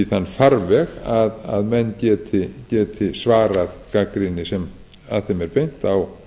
þann farveg að menn geti svarað gagnrýni sem að þeim er beint á